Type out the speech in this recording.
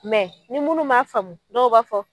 Mɛ ni munu m'a faamu dɔw b'a fɔ